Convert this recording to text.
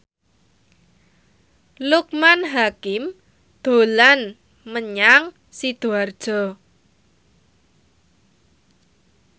Loekman Hakim dolan menyang Sidoarjo